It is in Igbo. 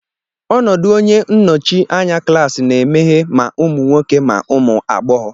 ọnọdụ onye nnọchi anya klaasị na-emeghe ma ụmụ nwoke ma ụmụ agbọghọ.